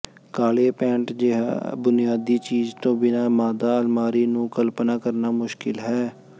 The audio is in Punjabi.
ਕਾਲੇ ਪੈਂਟ ਜਿਹੇ ਬੁਨਿਆਦੀ ਚੀਜ਼ ਤੋਂ ਬਿਨਾਂ ਮਾਦਾ ਅਲਮਾਰੀ ਨੂੰ ਕਲਪਨਾ ਕਰਨਾ ਮੁਸ਼ਕਿਲ ਹੈ